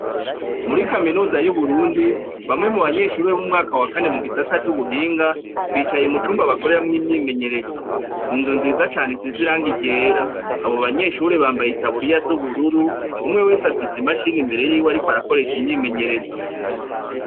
Muri kaminuza yu Burundi bamwe mu banyeshuri bo mu mwaka wa kane mu gisata c'ubuhinga bicaye mu cumba bakoreramwo imyimenyerezo n'inzu nziza cane isize irangi ryera abo banyeshuri bambaye itaburiya zu bururu umwe wese afise imashini ariko arakoresha imyimenyerezo.